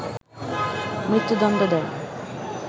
মৃত্যুদণ্ড দেয়